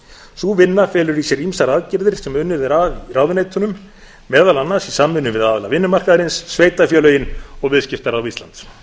sú vinna felur í sér ýmsar aðgerðir sem unnið er að í ráðuneytunum meðal annars í samvinnu við aðila vinnumarkaðarins sveitarfélögin og viðskiptaráð íslands